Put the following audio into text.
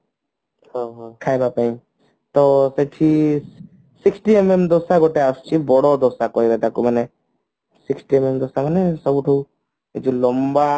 ଖାଇବା ପାଇଁ ତ ସେଠି sixty MMଦୋସା ଗୋଟେ ଆସୁଛି ବଡ ଦୋସା କହିବା ତାକୁ ମାନେ sixty MM ଯୋଉ ଲମ୍ବା